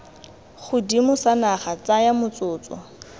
godimo sa naga tsaya motsotso